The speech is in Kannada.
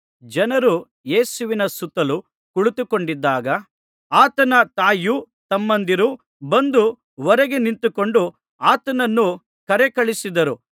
ಜನರು ಯೇಸುವಿನ ಸುತ್ತಲು ಕುಳಿತುಕೊಂಡಿದ್ದಾಗ ಆತನ ತಾಯಿಯೂ ತಮ್ಮಂದಿರೂ ಬಂದು ಹೊರಗೆ ನಿಂತುಕೊಂಡು ಆತನನ್ನು ಕರೆಕಳುಹಿಸಿದರು